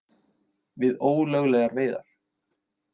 Við ólöglegar veiðar